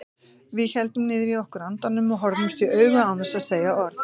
Við héldum niðri í okkur andanum og horfðumst í augu án þess að segja orð.